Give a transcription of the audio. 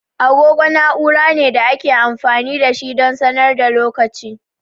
Agogo na'ura ne da ake amfani da shi don sanar da lokaci.